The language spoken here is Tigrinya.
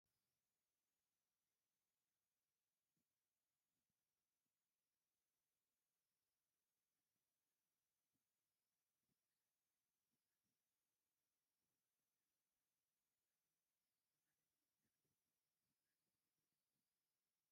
ናይ ኢትዮጵያ ፖስታን ናይ ትራንስፖርት ኣገልግሎትን ይጠቐሙ ምስ ዝብል መፋለጢ ዘመናዊ ኣውቶቡስ ትርአ ኣላ፡፡ እዚ ታካል ፖስታን ሰብን ንምምልላስ ዝጥቀመላ እያ፡፡ ብሓደ ወንጭፍ ክልተ ዒፍ ማለት እዚ ዶ ኣይኮነን?